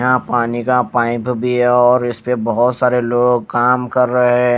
यहां पानी का पाइप भी है और इस पे बहुत सारे लोग काम कर रहे है।